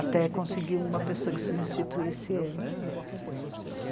Até conseguir uma pessoa que substituísse ele.